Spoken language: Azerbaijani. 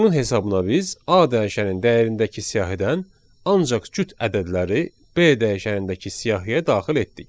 Bunun hesabına biz A dəyişəninin dəyərindəki siyahıdan ancaq cüt ədədləri B dəyişənindəki siyahıya daxil etdik.